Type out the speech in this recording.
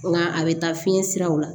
Nga a bɛ taa fiɲɛ siraw la